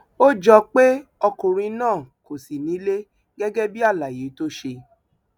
ó jọ pé ọkùnrin náà kò sí nílé gẹgẹ bíi àlàyé tó ṣe